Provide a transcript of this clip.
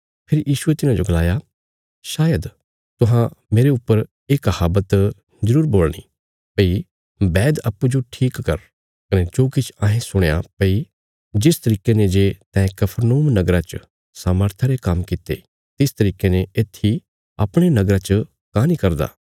फेरी यीशुये तिन्हाजो गलाया शायद तुहां मेरे ऊपर ये कहावत जरूर बोलणी भई बैद अप्पूँजो ठीक कर कने जो किछ अहें सुणया भई जिस तरिके ने जे तैं कफरनहूम नगरा च सामर्था रे काम्म कित्ते तिस तरिके ने येत्थी अपणे नगरा च काँह नीं करदा